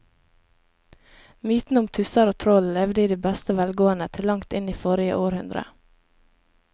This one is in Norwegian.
Mytene om tusser og troll levde i beste velgående til langt inn i forrige århundre.